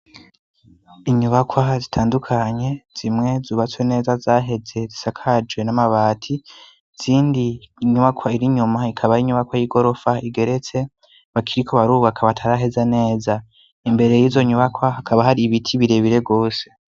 Inyubakwa zitandukanye zimwe zubatse neza zaheze zisakajwe n'amabati zindi inyubakwa irinyuma ikaba arinyubakwa y'i gorofa igeretse bakiriko barubaka bataraheza neza imbere y'izo nyubakwa hakaba hari ibiti birebire rwose.